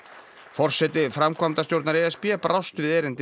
forseti framkvæmdastjórnar e s b brást við erindi